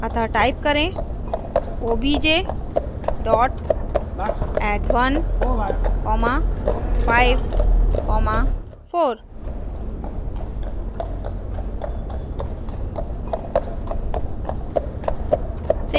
अतः type करें obj dot add 1 comma 5 comma 4